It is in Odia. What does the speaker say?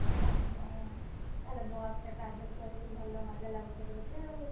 ଓହୋ ତାହେଲେ ବସ ରେ travel କରିକି ଭଲ ମଜା ଲାଗୁଥିବ ତତେ ଆଉ?